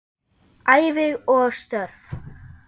Ævi og störf